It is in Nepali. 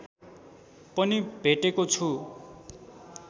पनि भेटेको छु